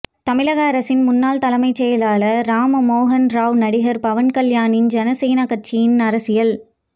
தமிழக அரசின் முன்னாள் தலைமைச் செயலாளர் ராம மோகனராவ் நடிகர் பவன் கல்யாணின் ஜன சேனா கட்சியின் அரசியல்